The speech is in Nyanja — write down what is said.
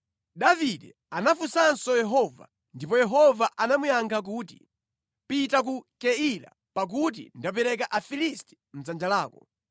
Davide anafunsanso Yehova, ndipo Yehova anamuyankha kuti, “Pita ku Keila pakuti ndapereka Afilisti mʼdzanja lako.”